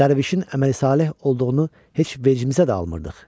Dərvişin əməli saleh olduğunu heç vecimizə də almırdıq.